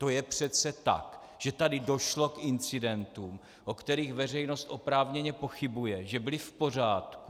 To je přece tak, že tady došlo k incidentům, o kterých veřejnost oprávněně pochybuje, že byly v pořádku.